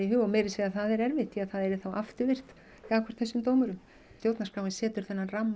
og meira að segja það er erfitt því það yrði þá afturvirkt gagnvart þessum dómurum stjórnarskráin setur ramma